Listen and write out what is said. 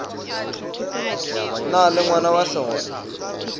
na le ngwana wa segole